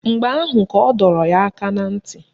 Mgbe ahụ ka ọ dọrọ ya aka na ntị